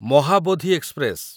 Mahabodhi express